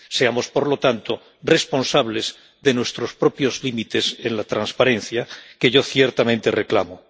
Seamos, por lo tanto, responsables de nuestros propios límites en la transparencia, que yo ciertamente reclamo.